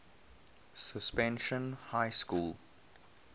suspension high school